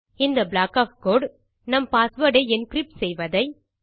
இந்த block of code நம் password ஐ என்கிரிப்ட் செய்வதை